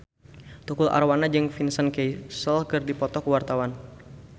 Tukul Arwana jeung Vincent Cassel keur dipoto ku wartawan